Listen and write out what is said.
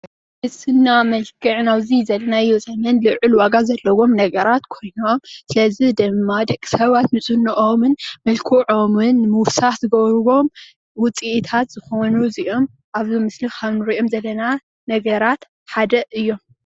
እዚ ናይ መልክዕ ኣብዚ ዘለናዮ ዘመን ልዑል ዋጋ ዘለዎም ነገራት ኮይኖም ስለዚ ድማ ደቂ ሰባት ንዝነኦምን መልከዖምን ንምውሳኽ ዝገብርዎም ውፂኢታት ዝኾኑ እዚኦም ኣብዚ ምስሊ ኻብ ንርእዮም ዘለና ነገራት ሓደ እዮሞ።